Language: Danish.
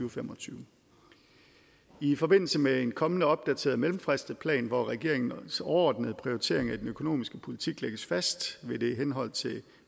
og fem og tyve i forbindelse med en kommende opdateret mellemfristet plan hvor regeringens overordnede prioritering af den økonomiske politik lægges fast vil der i henhold til